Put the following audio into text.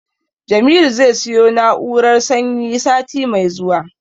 Jamilu zai siyo na'urar sanyi sati mai zuwa.